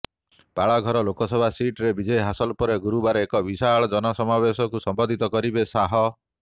ପାଳଘର ଲୋକସଭା ସିଟରେ ବିଜୟ ହାସଲ ପରେ ଗୁରବାର ଏକ ବିଶାଳ ଜନସମାବେଶକୁ ସମ୍ବୋଧିତ କରିବେ ଶାହ